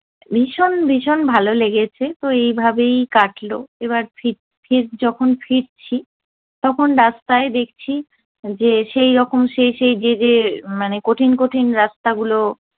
ভীষণ ভীষণ ভালো লেগেছে তো এইভাবেই কাটলো। এবার ফির ফির যখন ফিরছি তখন রাস্তায় দেখছি যে সেইরকম সেই সেই যে যে মানে কঠিন কঠিন রাস্তা গুলো